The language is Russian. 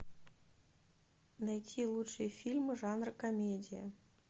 найти лучшие фильмы жанра комедия